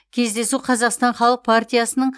кездесу қазақстан халық партиясының